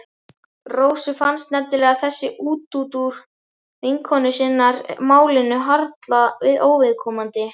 Rósu fannst nefnilega þessi útúrdúr vinkonu sinnar málinu harla óviðkomandi.